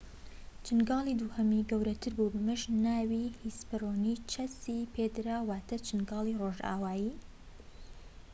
چنگاڵی دووهەمی گەورەتر بووە و بەمەش ناوی هیسپەرۆنیچەس ی پێدراوە واتە چنگاڵی ڕۆژئاوایی